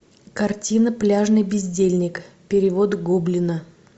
картина пляжный бездельник перевод гоблина